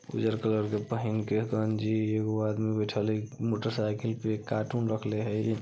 उज्जर कलर के पहिन के गंजी एगो आदमी बैठएल हेय उम्म मोटर साइकिल पे कार्टून रखले हेय।